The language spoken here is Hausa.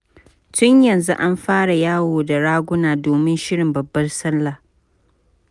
Tun yanzu an fara yawo da raguna domin shirin babbar sallah.